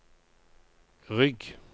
rygg